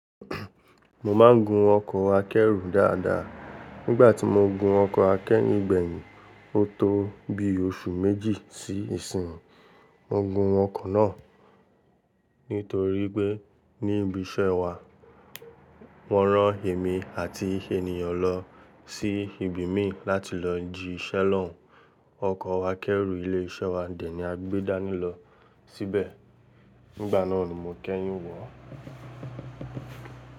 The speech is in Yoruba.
Mo máa ń gun ọkọ̀ akẹ́rù dáadáa. Nígbà tí mo gun ọkọ̀ akẹ́rù gbẹ̀yìn, ó tó bi oṣù méjì sí ìsìn. Mo gun ọkọ̀ náà nítorí pé ní ibi iṣẹ́ wa wọ́n rán èmi àti ènìyàn lọ sí ibi imí láti lọ jí ṣẹ́lọ́ùn. Ọkọ̀ akẹ́rù ilé iṣẹ́ wa dẹni a gbé dání lọ síbẹ̀. Nígbà náà ni mo kẹ́yìn wọ̀.